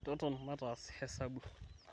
toton maatas hesabu